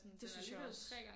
Det synes jeg også